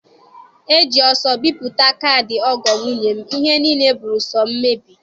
E ji ọsọ bipụta kaadị ọgọọ nwunye m, ihe niile bụrụ so mmebi.